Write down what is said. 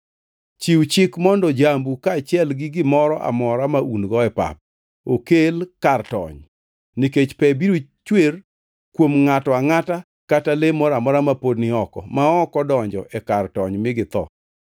Chiw chik mondo jambu kaachiel gi gimoro amora ma un-go e pap okel kar tony, nikech pe biro chwer kuom ngʼato angʼata kata le moro amora ma pod ni oko ma ok odonjo e kar tony mi githo.’ ”